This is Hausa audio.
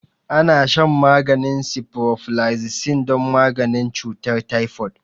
Ana shan maganin ciprofloxacin don maganin cutar typhoid